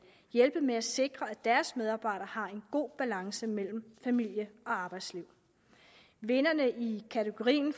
hjælpe med at sikre at deres medarbejdere har en god balance mellem familie og arbejdsliv vinderne i kategorien